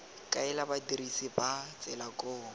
kaela badirisi ba tsela koo